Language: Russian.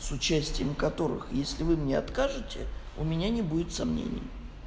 с участием которых если вы мне откажете у меня не будет сомнений